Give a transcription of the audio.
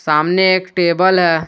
सामने एक टेबल हैं।